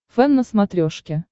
фэн на смотрешке